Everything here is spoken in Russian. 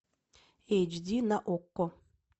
эйч ди на окко